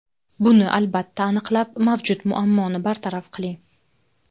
Buni albatta aniqlab, mavjud muammoni bartaraf qiling.